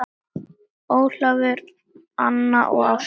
Ólafur, Anna og Ásta.